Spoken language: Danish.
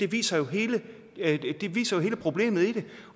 viser hele viser hele problemet i det